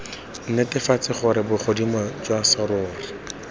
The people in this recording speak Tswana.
netefatse gore bogodimo jwa serori